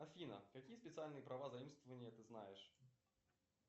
афина какие специальные права заимствования ты знаешь